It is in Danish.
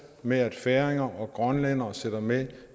med at færinger og grønlændere sidder med